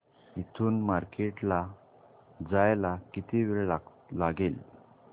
इथून मार्केट ला जायला किती वेळ लागेल